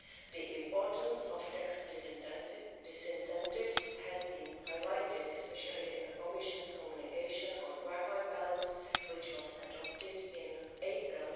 The importance of tax disincentives has been highlighted, especially in the Commission's Communication on work life balance which was adopted in April